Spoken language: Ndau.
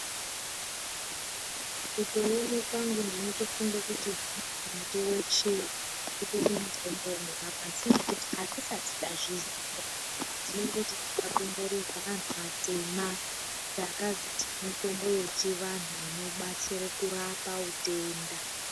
Mukuona kwangu ndinotofunga kuti muti weshe utori mutombo unorapa asi kungoti hatisati tazviziya. Ndinongoti takakomborerwa anhu atema takazara nemitombo yechivanhu inobatsire kurapa utenda.